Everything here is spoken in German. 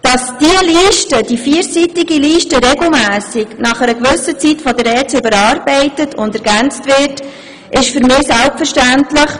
Dass diese vierseitige Liste regelmässig von der ERZ überarbeitet und ergänzt wird, ist für mich selbstverständlich.